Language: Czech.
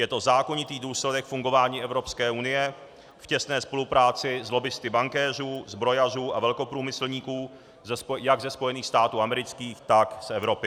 Je to zákonitý důsledek fungování Evropské unie v těsné spolupráci s lobbisty bankéřů, zbrojařů a velkoprůmyslníků jak ze Spojených států amerických, tak z Evropy.